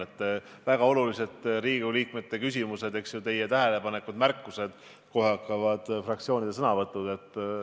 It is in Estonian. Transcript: Siin kõlavad väga olulised Riigikogu liikmete küsimused, teie tähelepanekud-märkused, kohe hakkavad fraktsioonide sõnavõtud.